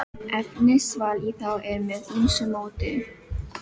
Efnisval í þá er með ýmsu móti.